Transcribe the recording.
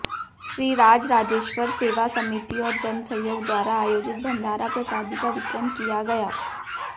श्रीराजराजेश्वर सेवा समिति और जनसहयोग द्वारा आयोजित भंडारा प्रसादी का वितरण कि या गया